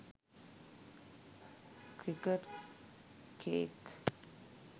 cricket cake